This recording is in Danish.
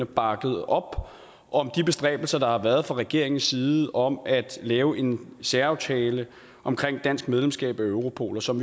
bakket op om de bestræbelser der har været fra regeringens side om at lave en særaftale om dansk medlemskab af europol og som